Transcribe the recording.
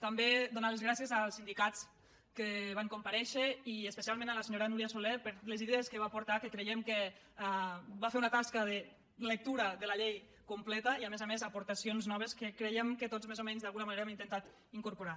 també donar les gràcies als sindicats que van compa·rèixer i especialment a la senyora núria soler per les idees que va aportar que creiem que va fer una tasca de lectura de la llei completa i a més a més aportaci·ons noves que creiem que tots més o menys d’alguna manera hem intentat incorporar